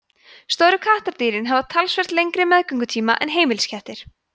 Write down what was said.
stóru kattardýrin hafa talsvert lengri meðgöngutíma en heimiliskettir